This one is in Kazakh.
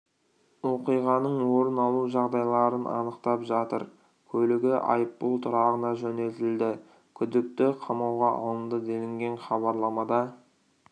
оқиғаның орын алу жағдайларын анықтап жатыр көлігі айыппұл тұрағына жөнелтілді күдікті қамауға алынды делінген хабарламада